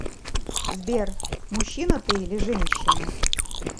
сбер мужчина ты или женщина